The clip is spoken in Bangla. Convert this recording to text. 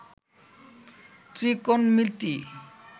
ত্রিকোণমিতি